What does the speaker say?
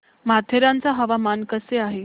माथेरान चं हवामान कसं आहे